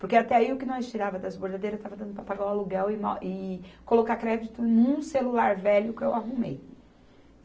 Porque até aí, o que nós tirava das bordadeiras, estava dando para pagar o aluguel e na, e colocar crédito num celular velho que eu arrumei.